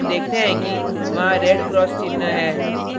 हम देखते हैं कि वहाँ red cross चिन्ह है